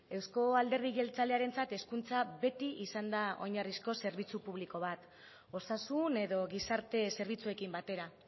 euzko alderdi jeltzalearentzat hezkuntza beti izan da oinarrizko zerbitzu publiko bat osasun edo gizarte zerbitzuekin batera